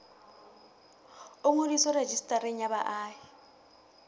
o ngodiswe rejistareng ya baahi